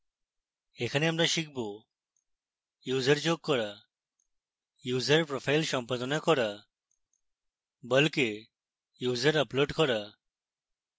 এখানে আমরা শিখব: